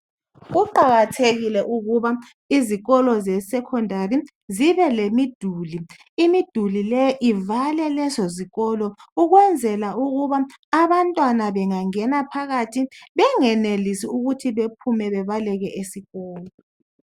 Kuqakathekile ukuba izikolo zesekondali zibe lemiduli. Imiduli le ivale lezo zikolo ukwenzela ukuba abantwana bengangena phakathi bengenelisi ukuthi bephume bebaleke esikolo.